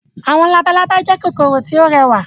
Àwọn labalábá jẹ́ kòkòrò tí ó rẹwà.